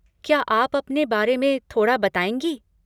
क्या आप अपने बारे में थोड़ा बताएँगी?